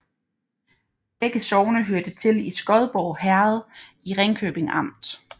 Begge sogne hørte til Skodborg Herred i Ringkøbing Amt